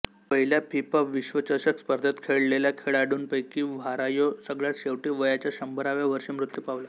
पहिल्या फिफा विश्वचषक स्पर्धेत खेळलेल्या खेळाडूंपैकी व्हारायो सगळ्यात शेवटी वयाच्या शंभराव्या वर्षी मृत्यू पावला